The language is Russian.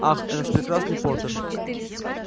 ах распрекрасный поттер